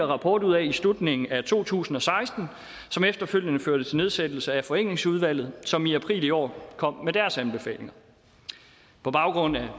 rapport ud af i slutningen af to tusind og seksten som efterfølgende førte til nedsættelsen af forenklingsudvalget for som i april i år kom med deres anbefalinger på baggrund af